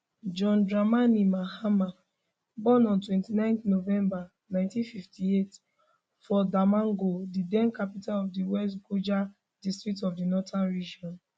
john dramani mahama born on 29 november 1958 for damongo di den capital of di west gonja district of di northern region